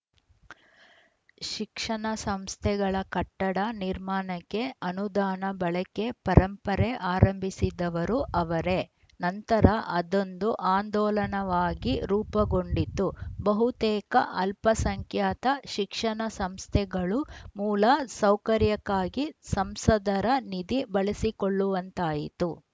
ಶಿಕ್ಷಣ ಸಂಸ್ಥೆಗಳ ಕಟ್ಟಡ ನಿರ್ಮಾಣಕ್ಕೆ ಅನುದಾನ ಬಳಕೆ ಪರಂಪರೆ ಆರಂಭಿಸಿದವರು ಅವರೇ ನಂತರ ಅದೊಂದು ಆಂದೋಲನವಾಗಿ ರೂಪುಗೊಂಡಿತು ಬಹುತೇಕ ಅಲ್ಪಸಂಖ್ಯಾತ ಶಿಕ್ಷಣ ಸಂಸ್ಥೆಗಳು ಮೂಲ ಸೌಕರ್ಯಕ್ಕಾಗಿ ಸಂಸದರ ನಿಧಿ ಬಳಸಿಕೊಳ್ಳುವಂತಾಯಿತು